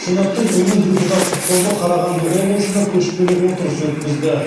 сенаттың өңір депутаттық тобы қарағанды облысында көшпелі отырыс өткізді